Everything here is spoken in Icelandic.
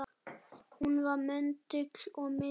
Hún var möndull og miðja.